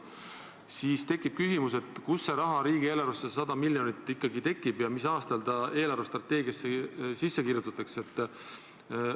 Nii tekib küsimus, kust see raha, see 100 miljonit riigieelarvesse ikkagi tekib ja mis aastal see eelarvestrateegiasse sisse kirjutatakse.